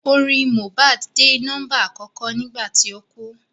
Orin Mohbad dé nọ́mbà àkọ́kọ́ nígbà tí ó kú